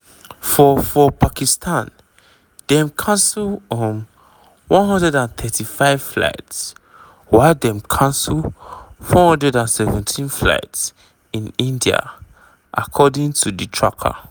meanwhile dem don cancel nearly 550 scheduled flights for india and pakistan since di air strikes.